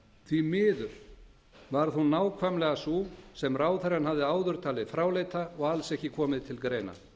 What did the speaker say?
því miður varð hún nákvæmlega sú sem ráðherrann hafði áður talið fráleita og alls ekki koma til greina